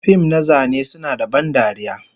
fim na zane suna da ban dariya,